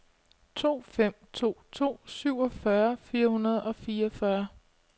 to fem to to syvogfyrre fire hundrede og fireogfyrre